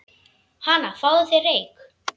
Hana, fáðu þér reyk